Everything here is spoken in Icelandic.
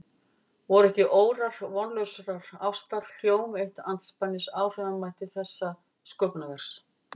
Voru ekki órar vonlausrar ástar hjóm eitt andspænis áhrifamætti þessa sköpunarverks?